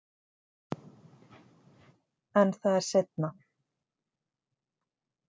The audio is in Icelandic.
En það er seinna.